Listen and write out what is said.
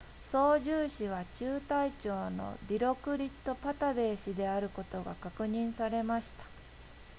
操縦士は中隊長のディロクリットパタヴェー氏であることが確認されました